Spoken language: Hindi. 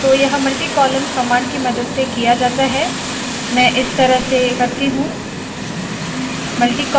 तो यह multi column command की मदद से किया जाता है मैं इस तरह से करती हूँ